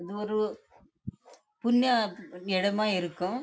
இது ஒரு புனிய இடம் ஆஹ் இருக்கும்